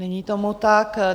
Není tomu tak.